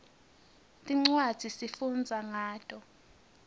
tincwadzi sifundza ngato